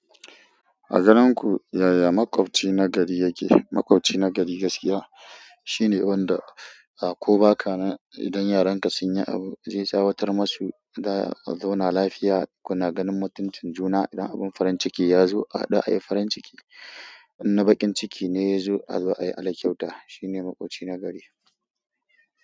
A ganin ku yaya makwaɓci na gari yake, maƙwabci na gari gaskiya shine wanda a ko ba ka nan idan yaran ka sun yi abu zai tsawatar masu da a zauna lafiya kuna ganin mutuncin juna idan abin farin ciki ya zo a haɗu ayi farin ciki idan bakin ciki ne ya zo a yi ala kyauta. Shi ne maƙwabci na gari.